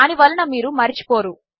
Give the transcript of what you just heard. దానినివలనమీరుమరచిపోరు